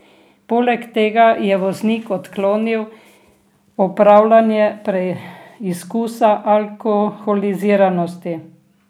Poleg tega je voznik odklonil opravljanje preizkusa alkoholiziranosti.